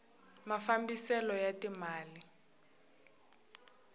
mafambiselo ya ti mali